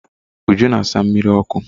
Uju na asa mmiri ọkụ.